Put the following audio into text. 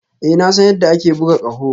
Ee na san yadda ake buga ƙaho